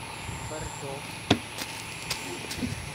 бордо